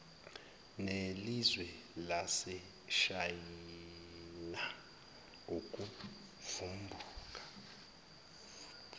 nelizwe laseshayina ukuvumbuka